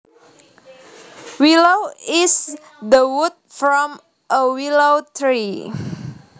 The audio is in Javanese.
Willow is the wood from a willow tree